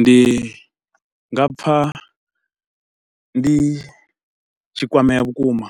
Ndi nga pfa ndi tshi kwamea vhukuma,